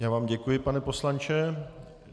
Já vám děkuji, pane poslanče.